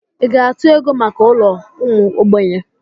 Ị ga-atụ ego maka ụlọ ụmụ ogbenye?